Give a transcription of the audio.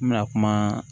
N bɛna kuma